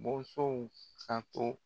ka to